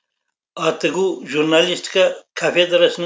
атгу журналистика кафедрасының